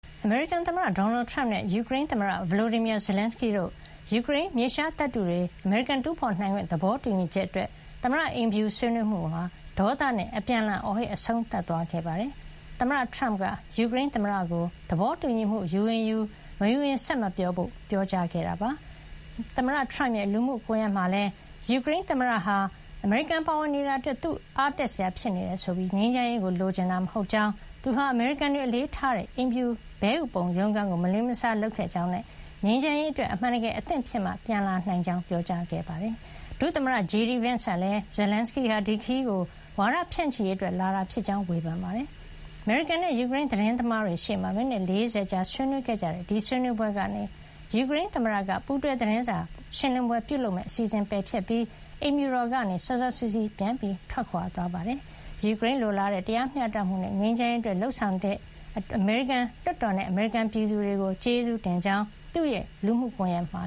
အမေရိကန်သမ္မတ ဒေါ်နယ်ထရမ့်နဲ့ ယူကရိန်းသမ္မတ Volodymyr Zelenskyy တို့တွေ့ဆုံပြီး ယူကရိန်း မြေရှားသတ္တုတွေကို အမေရိကန်က တူးဖေါ်နိုင်ခွင့်ရရေး သဘောတူညီချက်အတွက် သမ္မတအိမ်ဖြူတော်တွင်း ဆွေးနွေးမှုဟာ အပြန်အလှန် အခြေအတင် ပြောဆိုငြင်းခုံရင်း အဆုံးသတ် သွားခဲ့ပါတယ်။ သမ္မတထရမ့်က ယူကရိန်းသမ္မတကို သဘောတူညီမှု ယူရင်ယူ၊ မယူရင် ဆက်မပြောဖို့ ပြောကြားခဲ့ပါတယ်။ သမ္မတ ထရမ့်က သူ့ လူမှုကွန်ယက်မှာလည်း − ညှိနှိုင်းမှုတွေမှာ အမေရိကန်ပါရင် အသာစီးရမှာလောက်ကိုပဲ သမ္မတ Zelenskyy က လိုလားနေတာဖြစ်ပြီး ငြိမ်းချမ်းရေးကို လိုချင်တာ မဟုတ်ကြောင်း၊ သူဟာ အမေရိကန်တွေ အလေးထားကြတဲ့ အိမ်ဖြူတော်က ဘဲဥပုံရုံးခန်းကို မလေးမစား လုပ်ခဲ့ကြောင်းနဲ့ ငြိမ်းချမ်းရေးအတွက် အမှန်တကယ် အဆင်သင့် ဖြစ်မှ ပြန်လာနိုင်ကြောင်းလည်း ပြောကြားခဲ့ပါတယ်။ အမေရိကန် ဒုသမ္မတ JD Vance ကလည်း Zelenskyy ဟာ ဒီခရီးစဥ်ကို ဝါဒဖြန့်ချီရေးအတွက် လာရောက်တာဖြစ်ကြောင်း ဝေဖန်ခဲ့ပါတယ်။ အမေရိကန်နဲ့ ယူကရိန်း သတင်းသမားတွေရှေ့မှာ မိနစ် ၄၀ ကြာ အပြန်အလှန် အခြေအတင် ပြောဆို ဆွေးနွေးခဲ့ကြပြီးနောက် ယူကရိန်းသမ္မတက ပူးတွဲ သတင်းစာရှင်းလင်းပွဲ ပြုလုပ်မယ့် အစီစဉ်ကို ပယ်ဖျက်လိုက်ပြီး အိမ်ဖြူတော်ကနေ စောစောစီးစီး ပြန်လည် ထွက်ခွါ သွားခဲ့ပါတယ်။ ယူကရိန်းတွေ လိုလားတဲ့ တရားမျှတမှုနဲ့ ငြိမ်းချမ်းရေးအတွက် လုပ်ဆောင်ခဲ့ကြတဲ့အတွက် အမေရိကန်လွှတ်တော်နဲ့ အမေရိကန်ပြည်သူတွေကို ကျေးဇူးတင်ကြောင်း Zelenskyy က သူ့ရဲ့ လူမှုကွန်ယက် X မှာ